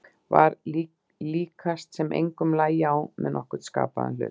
Var því líkast sem engum lægi á með nokkurn skapaðan hlut.